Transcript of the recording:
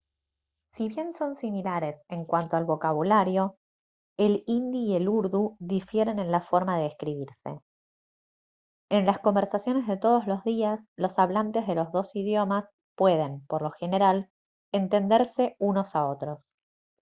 si bien son similares en cuanto al vocabulario el hindi y el urdu difieren en la forma de escribirse en las conversaciones de todos los días los hablantes de los dos idiomas pueden por lo general entenderse unos a otros